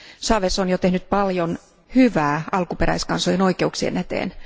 Chávez on jo tehnyt paljon hyvää alkuperäiskansojen oikeuksien eteen.